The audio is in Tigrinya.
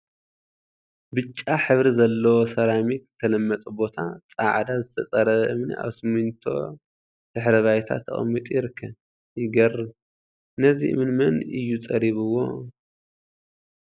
ብጫ ሕብሪ ዘለዎ ሰራሚክ ዝተለመፀ ቦታ ፃዕዳ ዝተፀረበ እምኒ አብ ስሚንቶ ድሕረ ባይታ ተቀሚጡ ይርከብ፡፡ ይገርም! ነዚ እምኒ መን እዩ ፀሪብዎ?